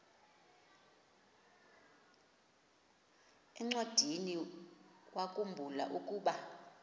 encwadiniwakhu mbula ukuba